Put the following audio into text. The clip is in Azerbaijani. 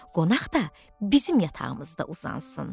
Qonaq da bizim yatağımızda uzansın.